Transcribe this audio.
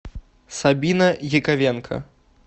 сабина яковенко